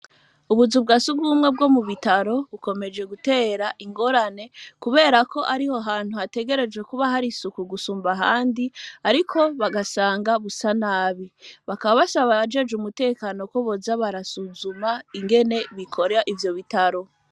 Ubuzu bwa siugumwe bwo mu bitaro bukomeje gutera ingorane, kubera ko ariho hantu hategereje kuba hari suku gusumba handi, ariko bagasanga busa nabi bakababasa bajeje umutekano ko boza barasuzuma ingene bikora ivyo bitaro.